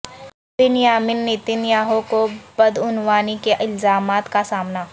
بن Yamin Netanyahu کو بدعنوانی کے الزامات کا سامنا